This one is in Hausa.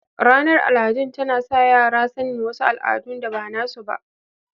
Ranar aladun tana sa yara sanin wasu aladun da bana su ba